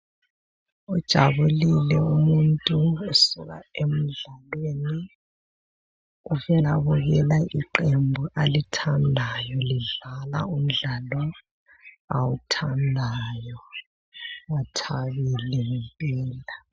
Ujabulile umuntu usuka emdlalweni uvela bukela iqembu alithandayo lidlala umdlalo awuthandayo uthabile ngempela.